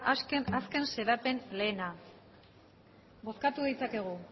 azken xedapen lehena bozkatu ditzakegu